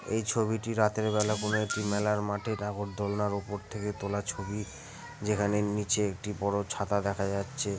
এই ছবিটি রাতের বেলা কোনো একটি মেলার মাঠে নাগরদোলনার ওপর থেকে তোলা ছবি যেখানে নীচে একটি বড় ছাতা দেখা যাচ্ছে।